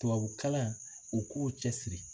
Tubabukalan u k'u cɛsiri